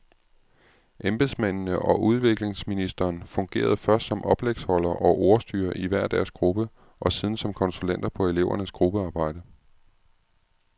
Embedsmændene og udviklingsministeren fungerede først som oplægsholdere og ordstyrere i hver deres gruppe og siden som konsulenter på elevernes gruppearbejde.